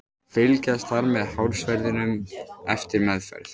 Fylgjast þarf með hársverðinum eftir meðferð.